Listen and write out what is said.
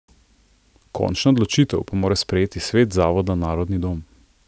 Končno odločitev pa mora sprejeti svet zavoda Narodni dom.